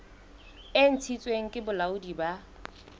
e ntshitsweng ke bolaodi bo